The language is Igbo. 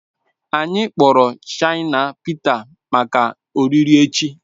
Anyị kpọrọ Shina Pịta maka oriri echi